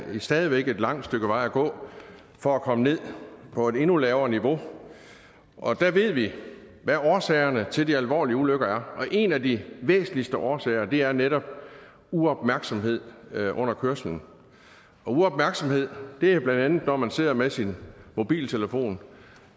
stadig væk et langt stykke vej at gå for at komme ned på et endnu lavere niveau og der ved vi hvad årsagerne til de alvorlige ulykker er og en af de væsentligste årsager er netop uopmærksomhed under kørslen uopmærksomhed er bla når man sidder med sin mobiltelefon